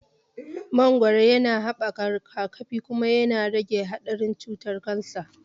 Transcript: Mangoro yana haɓaka rigakafi, kuma yana rage haɗarin cutar kansa.